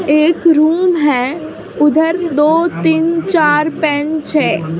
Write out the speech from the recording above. एक रूम है उधर दो तीन चार बेंच है ।